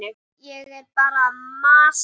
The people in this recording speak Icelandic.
Ég er bara að masa.